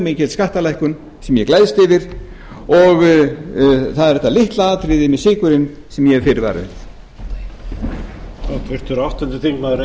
mikil skattalækkun sem ég gleðst yfir og það er þetta litla atriði með sykurinn sem ég hef fyrirvara við